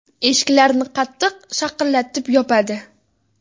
Eshiklarni qattiq, shaqillatib yopadi.